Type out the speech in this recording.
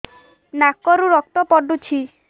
ନାକରୁ ରକ୍ତ ପଡୁଛି